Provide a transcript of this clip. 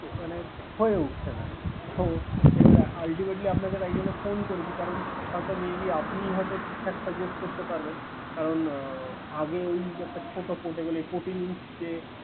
মানে হয়ে উঠছে না, তো এবারে ultimately আপনাকে তাই জন্য phone করেছি, কারন হয়ত may be আপনি হয়ত ঠিকঠাক suggest করতে পারবেন করান আগে ওই একটা ছোট portable fourteen inch যে